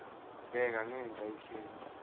bheka ngenhla ikheli